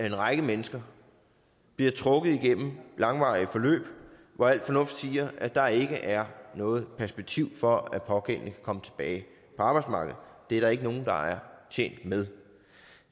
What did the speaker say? en række mennesker bliver trukket igennem langvarige forløb hvor al fornuft tilsiger at der ikke er noget perspektiv for at den pågældende kan komme tilbage på arbejdsmarkedet det er der ikke nogen der er tjent med